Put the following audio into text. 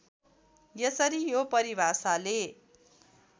यसरी यो परिभाषाले